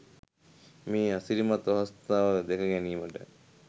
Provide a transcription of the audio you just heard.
මේ අසිරිමත් අවස්ථාව දැක ගැනීමට